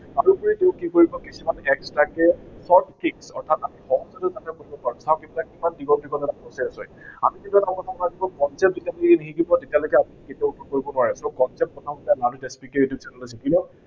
তাৰোপৰি উম কিছুমান extra কে short key অৰ্থাৎআমি সহজতে যাতে বুজি পাও, short কিছুমান process আছে। যেতিয়ালৈকে আপুনি concept নিশিকিব, তেতিয়ালৈকে আপুনি কেতিয়াও grow কৰিব নোৱাৰে concept টো এইটো channel ত শিকি লওক